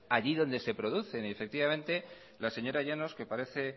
allí donde se producen y la señora llanos que parece